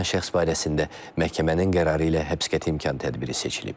Saxlanılan şəxs barəsində məhkəmənin qərarı ilə həbs qəti imkan tədbiri seçilib.